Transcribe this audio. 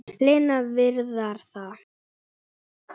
Lena, Viðar og